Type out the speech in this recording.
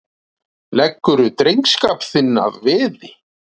Leggurðu drengskap þinn að veði?